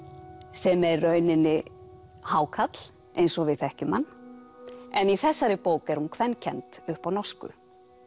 sem er í rauninni hákarl eins og við þekkjum hann en í þessari bók er hún upp á norsku